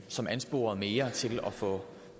som ansporede mere til at få